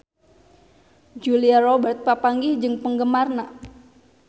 Julia Robert papanggih jeung penggemarna